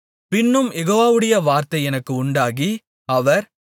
பின்னும் யெகோவாவுடைய வார்த்தை எனக்கு உண்டாகி அவர்